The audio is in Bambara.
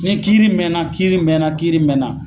Ni kiiri mɛnna kiiri mɛnna kiiri mɛnna